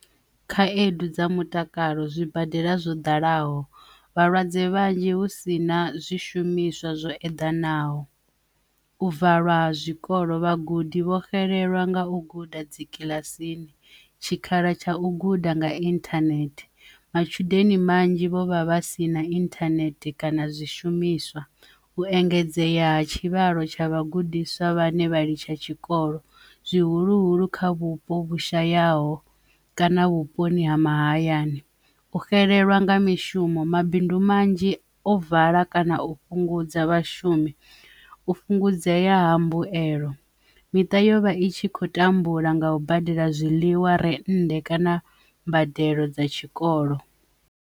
Khaedu dza mutakalo zwibadela zwo dalaho vhalwadze vhanzhi hu si na zwishumiswa zwo eḓanaho bvalwa zwikolo vhagudi vho xelelwa nga u guda dzikiḽasini, tshikhala tsha u guda nga internet matshudeni manzhi vho vha vha si na inthanethe kana zwishumiswa, u engedzea ha tshivhalo tsha vhagudiswa vhane vha litsha tshikolo zwihuluhulu kha vhupo vhu shayaho kana vhuponi ha mahayani, u xelelwa nga mishumo mabindu manzhi ovala kana u fhungudza vhashumi u fhungudzea ha mbuelo miṱa yovha i tshi khou tambula nga u badela zwiḽiwa rennde kana mbadelo dza tshikolo.